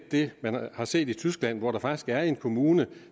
det man har set i tyskland hvor der faktisk er en kommune